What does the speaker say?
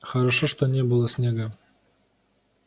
хорошо что не было снега